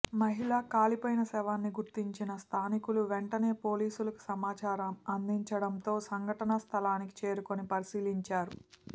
మహిళ కాలిపోయిన శవాన్ని గుర్తించిన స్థానికులు వెంటనే పోలీసులకు సమాచారం అందించడంతో సంఘటన స్థలానికి చేరుకుని పరిశీలించారు